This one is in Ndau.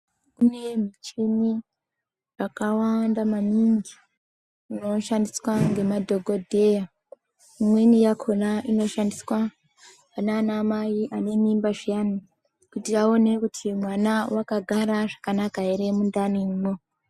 Kune michini yakawanda maningi inoshandiswa ngemadhokodheya imweni yakhona inoshandiswa kunana mai vane mimba zviyani kuti aone kuti mwana wakagara zvakanaka ere mundanimwo..